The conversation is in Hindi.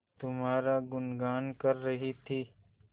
तुम्हारा गुनगान कर रही थी